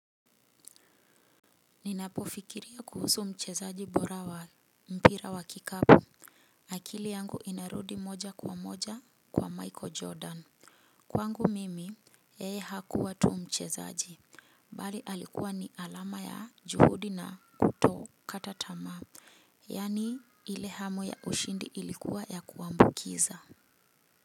Ninapo fikiria kuhusu mchezaji bora wa mpira wa kikapo akili yangu inarudi moja kwa moja kwa Michael Jordan. Kwangu mimi yeye hakuwa tu mchezaji bali alikuwa ni alama ya juhudi na kutokata tamaa. Yani ile hamu ya ushindi ilikuwa ya kuambukiza.